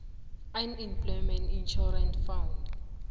unemployment insurance fund